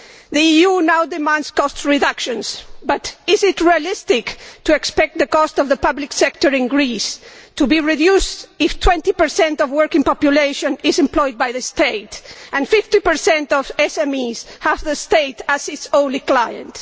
The EU now demands cost reductions, but is it realistic to expect the cost of the public sector in Greece to be reduced if 20 of the working population is employed by the state and 50 of SMEs have the state as its only client?